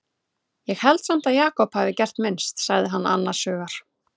Ég held samt að Jakob hafi gert minnst, sagði hann annars hugar.